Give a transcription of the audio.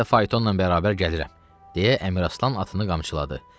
Mən də faytonla bərabər gəlirəm, - deyə Əmiraslan atını qamçıladı.